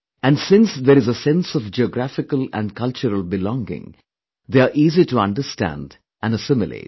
And since there is a sense of geographical &cultural belonging, they are easy to understand & assimilate